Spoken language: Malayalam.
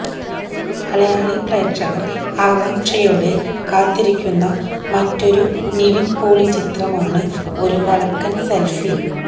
മലയാളി പ്രേക്ഷകര് ആകാംക്ഷയോടെ കാത്തിരിയ്ക്കുന്ന മറ്റൊരു നിവിന് പോളി ചിത്രമാണ് ഒരു വടക്കന് സെല്ഫി